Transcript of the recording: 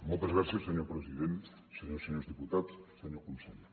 moltes gràcies senyor president senyores i senyors diputats senyor conseller